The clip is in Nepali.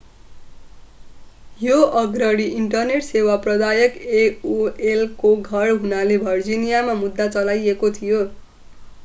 यो अग्रणी इन्टरनेट सेवा प्रदायक एओएलको घर हुनाले भर्जिनियामा मुद्दा चलाइएको थियो